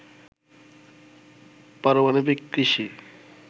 পারমাণবিক কৃষি